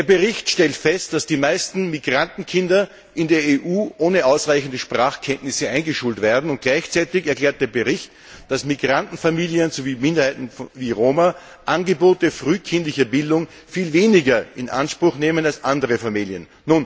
Im Bericht wird festgestellt, dass die meisten Migrantenkinder in der EU ohne ausreichende Sprachkenntnisse eingeschult werden. Und gleichzeitig wird erklärt, dass Migrantenfamilien sowie Minderheiten wie Roma Angebote frühkindlicher Bildung viel weniger in Anspruch nehmen als andere Familien.